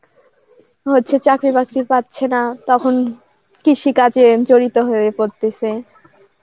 হচ্ছে চাকরি বাকরি পাচ্ছে না তখন কৃষি কাজে জড়িত হয়ে পরতেছে হ্যাঁ অনেকেই শিক্ষিত বেকাররা আসলে যারা হচ্ছে যে সে মাছ চাষ করতেছে কিংবা